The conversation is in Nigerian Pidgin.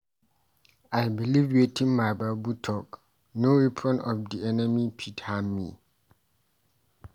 I beliv wetin my Bible talk no weapon of di enemy fit harm me.